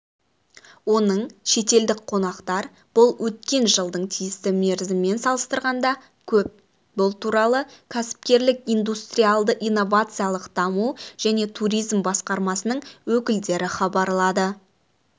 оның шетелдік қонақтар бұл өткен жылдың тиісті мерзімімен салыстырғанда көп бұл туралы кәсіпкерлік индустриалды-инновациялық даму және туризм басқармасының өкілдері хабарлады